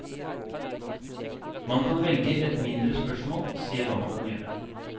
Man kan velge et mindre spørsmål og se hva man kan gjøre.